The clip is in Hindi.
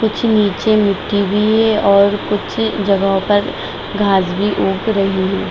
कुछ नीचे मिट्टी भी है और कुछ जगहों पर घास भी उग रही है ।